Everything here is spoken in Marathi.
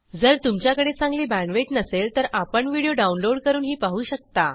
जर तुमच्याकडे चांगली बॅण्डविड्थ नसेल तर आपण व्हिडिओ डाउनलोड करूनही पाहू शकता